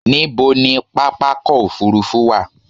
Ní bo ni pápákọ̀ òfurufú wà?